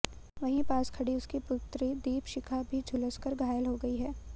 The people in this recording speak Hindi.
वहीं पास खड़ी उसकी पुत्री दीपशिखा भी झुलस कर घायल हो गई है